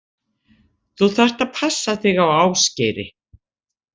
Þú þarft að passa þig á Ásgeiri.